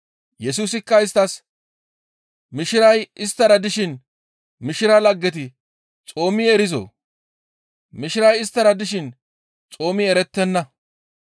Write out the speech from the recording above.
Yesusikka isttas, «Mishiray isttara dishin mishira laggeti xoomi erizoo? Mishiray isttara dishin xoomi erettenna.